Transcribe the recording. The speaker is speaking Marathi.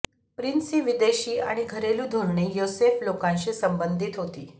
प्रिन्सची विदेशी आणि घरेलू धोरणे योसेफ लोकांशी संबंधित होती